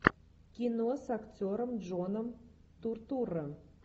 кино с актером джоном туртурро